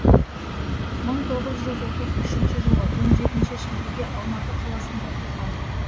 жылы шілдеде алматы қаласында туған